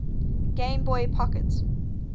game boy pocket